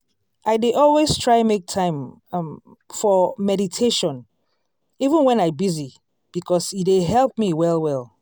i dey always try make time um for meditation even wen i busy because e dey help me well well.